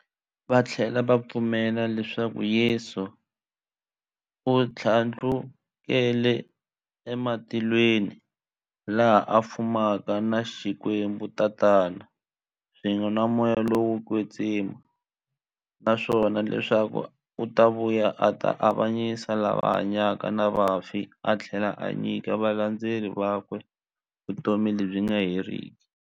Vathlela va pfumela leswaku Yesu u thlandlukele e matilweni, laha a fumaka na Xikwembu-Tatana, swin'we na Moya lowo kwetsima, naswona leswaku u ta vuya a ta avanyisa lava hanyaka na vafi athlela a nyika valandzeri vakwe vutomi lebyi nga heriki.